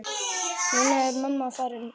Núna er mamma farin.